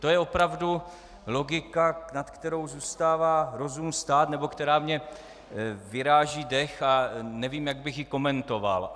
To je opravdu logika, nad kterou zůstává rozum stát nebo která mi vyráží dech a nevím, jak bych ji komentoval.